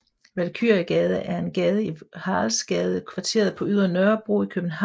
Valkyriegade er en gade i Haraldsgadekvarteret på Ydre Nørrebro i København